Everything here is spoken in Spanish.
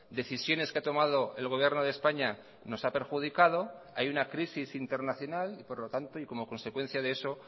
decisiones que ha tomado el gobierno de españa nos ha perjudicado hay una crisis internacional y por lo tanto y como consecuencia de eso